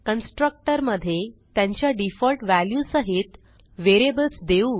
constructor मधे त्यांच्या default value सहित व्हेरिएबल्स देऊ